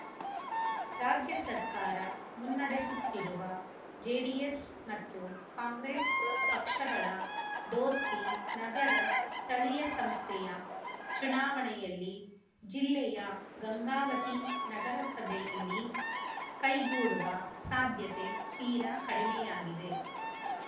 ರಾಜ್ಯ ಸರ್ಕಾರ ಮುನ್ನಡೆಸುತ್ತಿರುವ ಜೆಡಿಎಸ್‌ ಮತ್ತು ಕಾಂಗ್ರೆಸ್‌ ಪಕ್ಷಗಳ ದೋಸ್ತಿ ನಗರ ಸ್ಥಳೀಯ ಸಂಸ್ಥೆಯ ಚುನಾವಣೆಯಲ್ಲಿ ಜಿಲ್ಲೆಯ ಗಂಗಾವತಿ ನಗರಸಭೆಯಲ್ಲಿ ಕೈಗೂಡುವ ಸಾಧ್ಯತೆ ತೀರಾ ಕಡಿಮೆಯಾಗಿದೆ